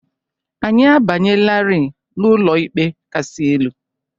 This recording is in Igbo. Anyị abanyelarị n'Ụlọikpe Kasị Elu